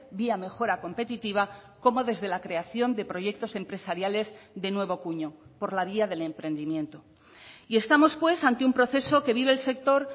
vía mejora competitiva como desde la creación de proyectos empresariales de nuevo cuño por la vía del emprendimiento y estamos pues ante un proceso que vive el sector